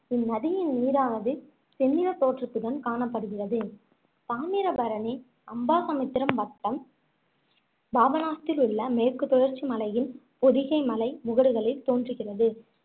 இந்நதியின் நீரானது செந்நிறத் தோற்றத்துடன் காணப்படுகிறது தாமிரபரணி, அம்பாசமுத்திரம் வட்டம் பாபநாசத்திலுள்ள மேற்கு தொடர்ச்சி மலையில் பொதிகை மலை முகடுகளில் தோன்றுகிறது